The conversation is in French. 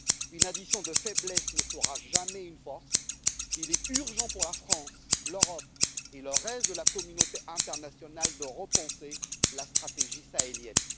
Une addition de faiblesses ne fera jamais une force, et il est urgent pour la France, l'Europe et le reste de la communauté internationale de repenser la stratégie sahélienne.